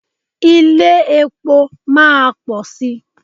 Ilé-epo máa pọ̀ sí.